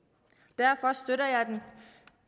derfor støtter jeg det